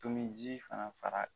Tomin ji fana far'a kan